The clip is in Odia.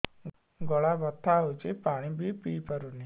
ଗଳା ବଥା ହଉଚି ପାଣି ବି ପିଇ ପାରୁନି